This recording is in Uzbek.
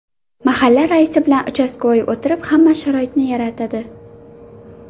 Mahalla raisi bilan ‘uchastkavoy’ o‘tirib, hamma sharoitini yaratadi.